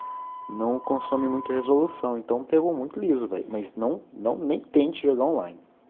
новокомсомольская золотом том том ноты онлайн